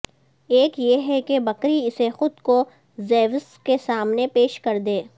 ایک یہ ہے کہ بکری اسے خود کو زیوس کے سامنے پیش کر دے